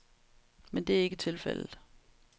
Men det er ikke tilfældet.